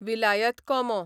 विलायत कोमो